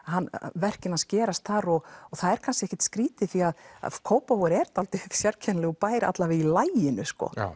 verkin hans gerast þar og það er kannski ekkert skrítið því að Kópavogur er svolítið sérkennilegur bær alla vega í laginu